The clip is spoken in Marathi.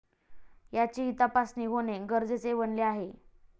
याचीही तपासणी होणे गरजेचे बनले आहे.